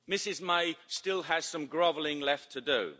Ms May still has some grovelling left to do.